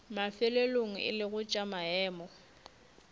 mafelelong e lego tša maemo